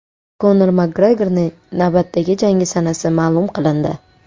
Konor Makgregorning navbatdagi jangi sanasi ma’lum qilindi.